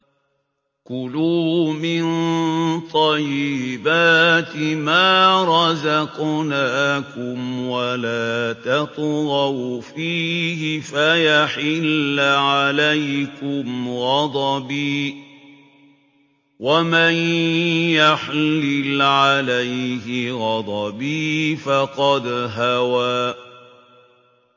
كُلُوا مِن طَيِّبَاتِ مَا رَزَقْنَاكُمْ وَلَا تَطْغَوْا فِيهِ فَيَحِلَّ عَلَيْكُمْ غَضَبِي ۖ وَمَن يَحْلِلْ عَلَيْهِ غَضَبِي فَقَدْ هَوَىٰ